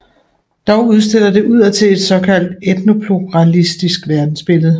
Dog udstiller det udadtil et såkaldt etnopluralistisk verdensbillede